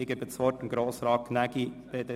Das Wort hat Grossrat Gnägi, BDP.